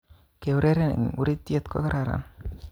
Keureren eng urit'yet kokararan